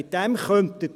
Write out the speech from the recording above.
Damit Sie leben.